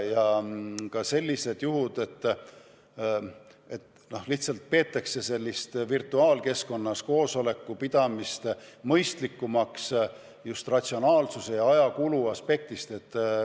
On ka sellised juhud, et virtuaalkeskkonnas koosoleku pidamist peetakse mõistlikumaks just ratsionaalsuse ja ajakulu aspektist.